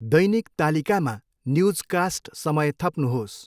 दैनिक तालिकामा न्युजकास्ट समय थप्नुहोस्।